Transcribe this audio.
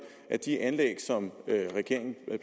at de anlæg som regeringen